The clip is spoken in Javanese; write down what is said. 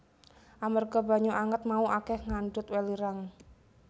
Amarga banyu anget mau akèh ngandhut welirang